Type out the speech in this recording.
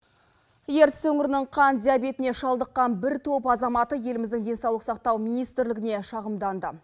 ертіс өңірінің қант диабетіне шалдыққан бір топ азаматы еліміздің денсаулық сақтау министрлігіне шағымданды